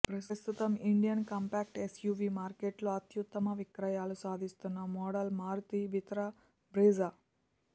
ప్రస్తుతం Indian compact SUV మార్కెట్లో అత్యుత్తమ విక్రయాలు సాధిస్తున్న మోడల్ మారుతి వితారా బ్రిజా